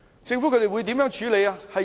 政府會如何處理？